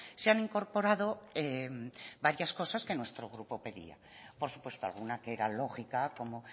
se han incorporado varias cosas que nuestro grupo pedía por supuesto alguna que era lógica como